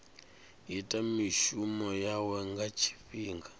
ita mishumo yawe nga tshifhinga